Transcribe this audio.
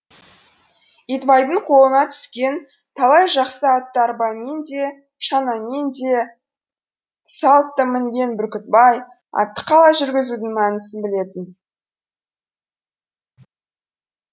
итбайдың қолына түскен талай жақсы атты арбамен де шанамен де салт та мінген бүркітбай атты қалай жүргізудің мәнісін білетін